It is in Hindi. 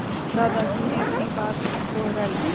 दादाजी ने अपनी बात दोहराई